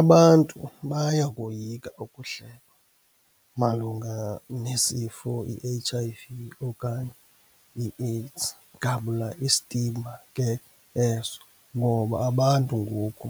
Abantu bayakoyika ukuhlekwa malunga nesifo i-H_I_V okanye iAIDS, ngabula i-stigma ke eso. Ngoba abantu ngoku